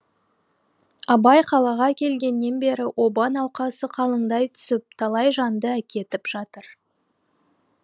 абай қалаға келгеннен бері оба науқасы қалыңдай түсіп талай жанды әкетіп жатыр